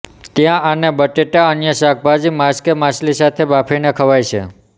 ત્યાં આને બટેટા અન્ય શાકભાજી માંસ કે માછલી સાથે બાફીને ખવાય છે